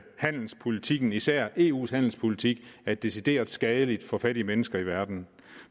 handelspolitik især eus handelspolitik er decideret skadelig for fattige mennesker i verden